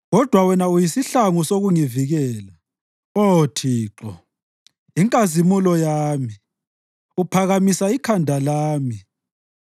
Kodwa wena uyisihlangu sokungivikela, Oh, Thixo, inkazimulo yami, uphakamisa ikhanda lami.